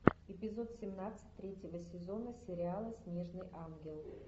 эпизод семнадцать третьего сезона сериала снежный ангел